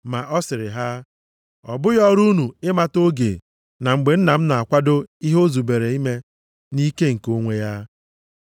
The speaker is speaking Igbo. Ma ọ sịrị ha, “Ọ bụghị ọrụ unu ịmata oge na mgbe Nna m na-akwado ihe o zubere ime nʼikike nke onwe ya.